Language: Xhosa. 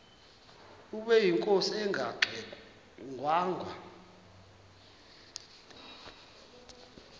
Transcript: ubeyinkosi engangxe ngwanga